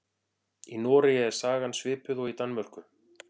Í Noregi er sagan svipuð og í Danmörku.